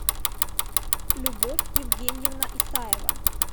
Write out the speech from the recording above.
любовь евгеньевна исаева